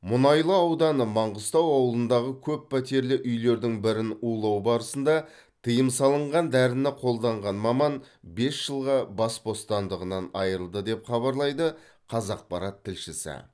мұнайлы ауданы маңғыстау ауылындағы көппәтерлі үйлердің бірін улау барысында тыйым салынған дәріні қолданған маман бес жылға бас бостандығынан айырылды деп хабарлайды қазақпарат тілшісі